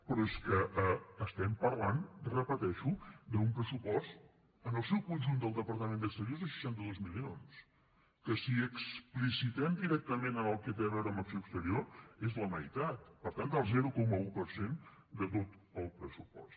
però és que estem parlant ho repeteixo d’un pressupost en el seu conjunt del departament d’exteriors de seixanta dos milions que si hi explicitem directament el que té a veure amb acció exterior és la meitat per tant del zero coma un per cent de tot el pressupost